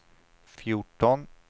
fjorton